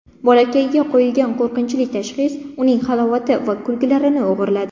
Bolakayga qo‘yilgan qo‘rqinchli tashxis uning halovati va kulgularini o‘g‘irladi.